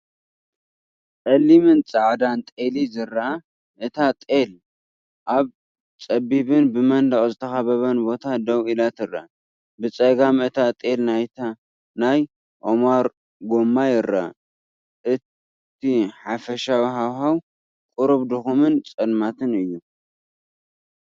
ጸሊምን ጻዕዳን ጤል ዝረአ፣ እታ ጤል ኣብ ጸቢብን ብመንደቕ ዝተኸበበን ቦታ ደው ኢላ ትረአ። ብጸጋም እታ ጤል ናይ ኦማር ጎማ ይርአ። እቲ ሓፈሻዊ ሃዋህው ቁሩብ ድኹምን ጸልማትን እዩ።